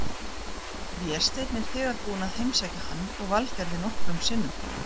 Vésteinn er þegar búinn að heimsækja hann og Valgerði nokkrum sinnum.